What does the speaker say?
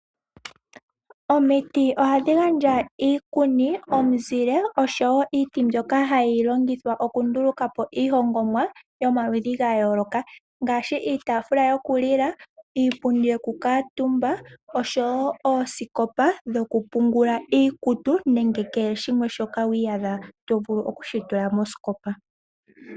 Omiti ohadhi gandja iikuni, omizile oshowo iiti mbyoka hayi longithwa oku ndulukapo iihongomwa yomaludhi gayooloka , ngashi iitafula yokulila, iipundi yokukatumba oshowo oosikopa dhoku pungula iikutu , nenge kehe shimwe shoka wiyadha tovulu okushi tula mosikopa.